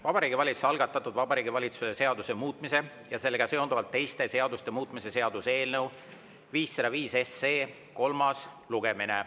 Vabariigi Valitsuse algatatud Vabariigi Valitsuse seaduse muutmise ja sellega seonduvalt teiste seaduste muutmise seaduse eelnõu 505 kolmas lugemine.